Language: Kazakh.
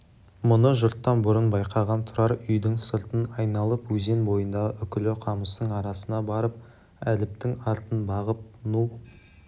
мұны жұрттан бұрын байқаған тұрар үйдің сыртын айналып өзен бойындағы үкілі қамыстың арасына барып әліптің артын бағып ну